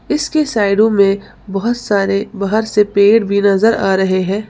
इसके साइडो में बहुत सारे बाहर से पेड़ भी नजर आ रहे हैं।